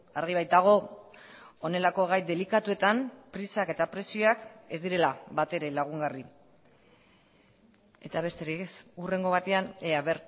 argi baitago honelako gai delikatuetan prisak eta presioak ez direla batere lagungarri eta besterik ez hurrengo batean ea